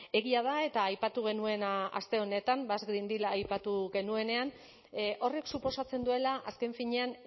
egia da eta aipatu genuen aste honetan basque green deal aipatu genuenean horrek suposatzen duela azken finean